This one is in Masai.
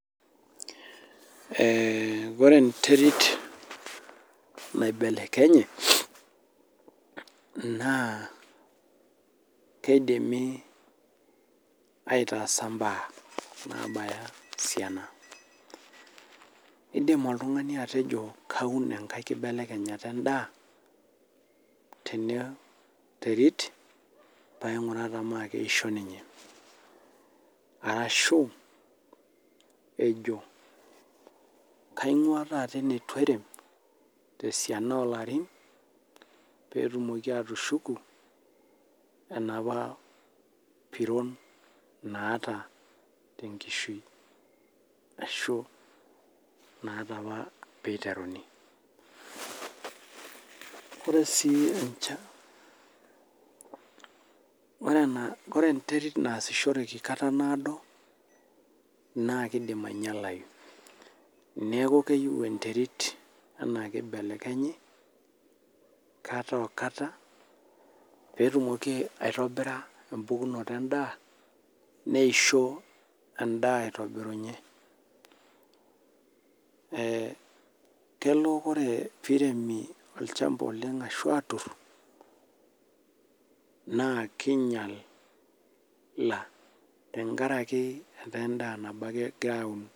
Ee kore enterit naibelekenye naa keidimi aitaasa imbaa naabaya esiana. Iidim olltung'ani atejo kaun enkae kibelekenyata endaa tene terit paing'uraa tenaake eisho ninye, arashu ejo kaing'ua taata ene etu airem te siana oo larin peetumoki atushuku enapa piron naata te nkishui ashu naata apa piiteruni. Ore sii encha ore ena ore enterit naasishoreki kata naado naake iidim ainyalayu, neeku keyiu enterit enaa piibelekenyi kata oo kata peetumoki aitobira empukunoto endaa neisho endaa aitobirunye. Ee kelo piiremi olchamba oleng' ashu aatur naa kinyala tenkaraki etaa endaa nabo ake egirai aun.